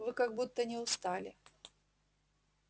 вы как будто не устали